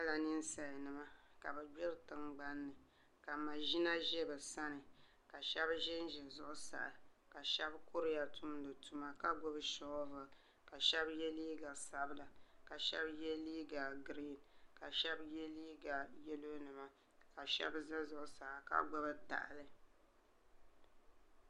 N nyɛla ninsal nima ka bi gbiri tingbanni ka maʒina ʒɛ bi sani ka shab ʒinʒi zuɣusaa ka shab kuriya tumdi tuma ka gbubi shoovul ka shab yɛ liiga sabila ka shab yɛ liiga griin ka shab yɛ liiga yɛlo nima ka shab ʒɛ zuɣusaa ka gbubi tahali